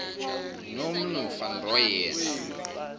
nomnu van rooyen